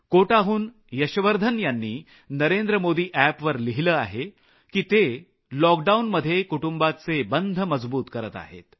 कोटाहून यशवर्धन यांनी नरेंद्रमोदी Appवर लिहिलं आहे की ते लॉकडाऊनमध्ये कुटुंबाचे बंध मजबूत करत आहेत